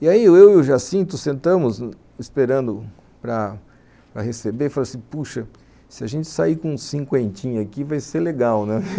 E aí eu e o Jacinto sentamos esperando para receber, falamos assim, puxa, se a gente sair com uns cinquentinha aqui vai ser legal, né?